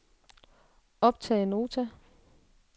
optag notat